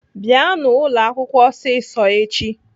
Bịanụ ụlọakwụkwọ ọsịsọ echi!